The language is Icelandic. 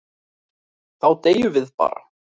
Þá deyjum við bara.